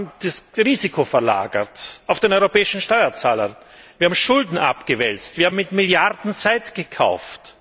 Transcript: Wir haben das Risiko verlagert auf den europäischen Steuerzahler. Wir haben Schulden abgewälzt, wir haben mit Milliarden Zeit gekauft.